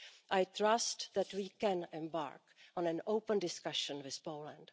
I trust that we can embark on an open discussion with Poland.